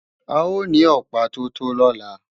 A ó ní Ọ̀pá tó tó lọ́la